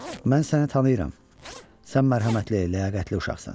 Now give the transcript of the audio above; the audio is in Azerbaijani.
Mən səni tanıyıram, sən mərhəmətli, ləyaqətli uşaqsan.